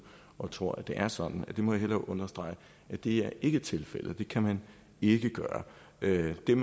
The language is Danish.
og tror at det er sådan understrege at det ikke er tilfældet det kan man ikke gøre det der